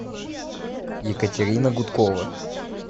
екатерина гудкова